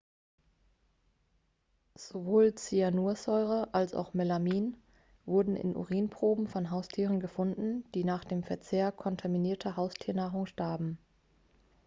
sowohl cyanursäure als auch melamin wurden in urinproben von haustieren gefunden die nach dem verzehr kontaminierter haustiernahrung starben